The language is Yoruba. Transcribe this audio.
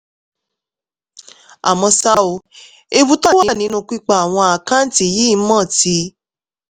àmọ́ ṣá o ewu tó wà nínú pípa àwọn àkáǹtì yìí mọ́ ti